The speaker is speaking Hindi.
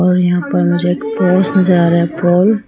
और यहां पर मुझे एक पोस नजर आ रहा है पोल ।